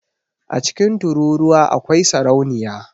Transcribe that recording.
A cikin tururuwa akwai sarauniya